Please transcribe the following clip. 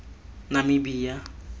namibia